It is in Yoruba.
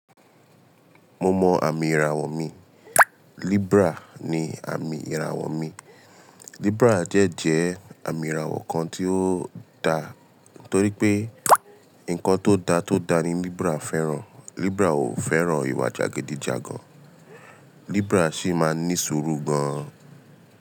Mo mọ àmì ìràwọ̀ mi. Libra ni àmì ìràwọ̀ mi. Libra de jẹ́ àmì ìràwọ̀ kan tí ó da, torí pé nǹkan tó da tó da ni Libra fẹ́ràn. Libra ò fẹ́ràn ìwà jàgídíjàgan. Libra sì máa ń ní sùúrù gan.